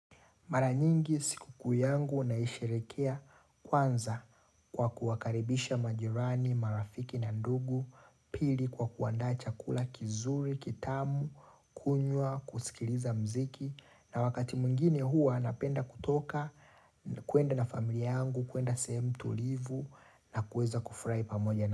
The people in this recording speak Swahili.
Mara nyingi sikukuu yangu naisherehekea kwanza kwa kuwakaribisha majirani, marafiki na ndugu, pili kwa kuandaa chakula kizuri, kitamu, kunywa, kusikiliza muziki. Na wakati mwingine huwa napenda kutoka, kuenda na familia yangu, kuenda sehemu tulivu na kueza kufurahi pamoja.